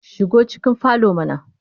Shigo cikin falo mana